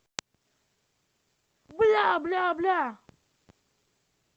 бля бля бля